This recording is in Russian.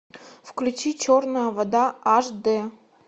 включи черная вода аш дэ